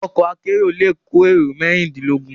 Òkò àkèéró lé kó éró mèrindinlógùn